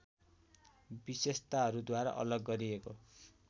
विशेषताहरूद्वारा अलग गरिएको